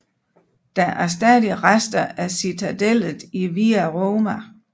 Der er stadig rester af citadellet i Via Roma